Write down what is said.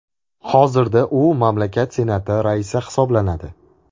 Hozirda u mamlakat Senati raisi hisoblanadi.